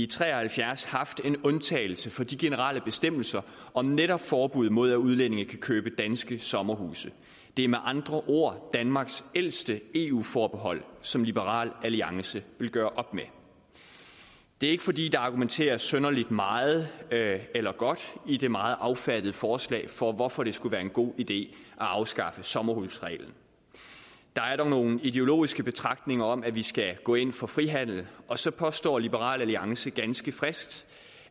tre og halvfjerds haft en undtagelse fra de generelle bestemmelser om netop forbud mod at udlændinge kan købe danske sommerhuse det er med andre ord danmarks ældste eu forbehold som liberal alliance vil gøre op med det er ikke fordi der argumenteres synderlig meget eller godt i det meget kort affattede forslag for hvorfor det skulle være en god idé at afskaffe sommerhusreglen der er dog nogle ideologiske betragtninger om at vi skal gå ind for frihandel og så påstår liberal alliance ganske frisk